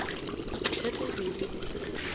bothata e be e le